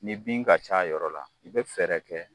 Ni bin ka c'a yɔrɔ la i bɛ fɛɛrɛ kɛ